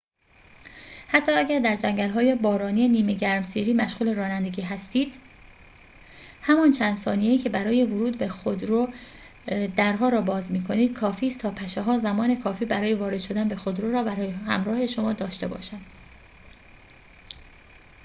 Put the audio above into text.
حتی اگر در جنگل‌های بارانی نیمه گرمسیری مشغول رانندگی هستید همان چند ثانیه‌ای که برای ورود به خودرو درها را باز می‌کنید کافیست تا پشه‌ها زمان کافی برای وارد شدن به خودرو را همراه شما داشته باشند